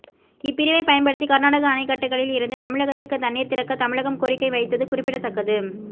இப்பிரிவை பயன்படுத்தி கர்நாடக அணைக்கட்டுகளில் இருந்து தமிழகத்துக்கு தண்ணீர் திறக்க தமிழகம் கோரிக்கை வைத்தது குறிப்பிடத்தக்கது